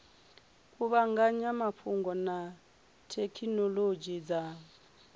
kuvhanganya mafhungo na thekhinolodzhi dza